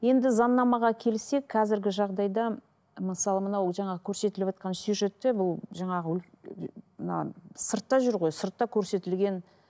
енді заңнамаға келсек қазіргі жағдайда мысалы мынау жаңағы көрсетіліватқан сюжетте бұл жаңағы мына сыртта жүр ғой сыртта көрсетілген